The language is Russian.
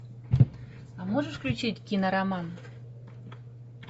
а можешь включить кинороман